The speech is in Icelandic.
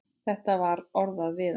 Þetta var orðað við hann.